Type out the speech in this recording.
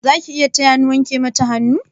Zaki iya taya ni wanke mata hannu?